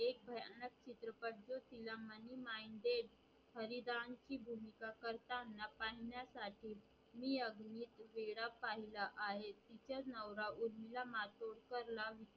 हरीदानची भूमिका करताना पाहाण्यासाठी मी अभिनेत्रीला वेडा पहिला आहे तिचा नवरा उर्मिला मारतूरकरला